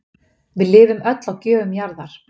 Við lifum öll á gjöfum jarðar